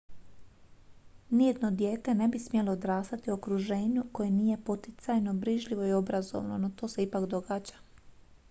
nijedno dijete ne bi smjelo odrastati u okruženju koje nije poticajno brižljivo i obrazovno no to se ipak događa